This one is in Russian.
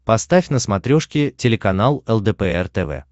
поставь на смотрешке телеканал лдпр тв